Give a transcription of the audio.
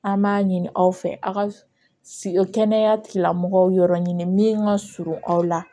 An b'a ɲini aw fɛ a ka kɛnɛya tigilamɔgɔw yɔrɔ ɲini min ka surun aw la